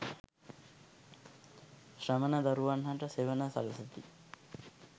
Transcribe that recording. ශ්‍රමණ දරුවන් හට සෙවණ සළසති